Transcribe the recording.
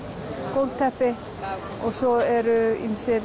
gólfteppi og svo eru ýmsir